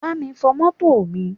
Bámi fọ mọ́tò mi!